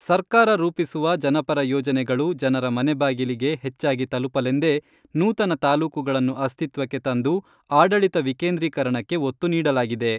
ಸರ್ಕಾರ ರೂಪಿಸುವ ಜನಪರ ಯೋಜನೆಗಳು ಜನರ ಮನೆ ಬಾಗಿಲಿಗೆ ಹೆಚ್ಚಾಗಿ ತಲುಪಲೆಂದೇ ನೂತನ ತಾಲೂಕುಗಳನ್ನು ಅಸ್ತಿತ್ವಕ್ಕೆ ತಂದು ಆಡಳಿತ ವಿಕೇಂದ್ರೀಕರಣಕ್ಕೆ ಒತ್ತು ನೀಡಲಾಗಿದೆ.